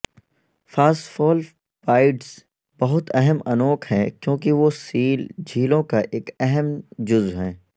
phospholipids بہت اہم انوک ہیں کیونکہ وہ سیل جھلیوں کا ایک اہم جزو ہیں